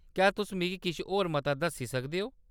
क्या तुस मिगी किश होर मता दस्सी सकदे ओ ?